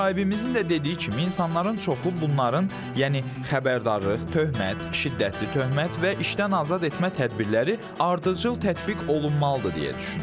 Müsahibimizin də dediyi kimi, insanların çoxu bunların, yəni xəbərdarlıq, töhmət, şiddətli töhmət və işdən azad etmə tədbirləri ardıcıl tətbiq olunmalıdır deyə düşünür.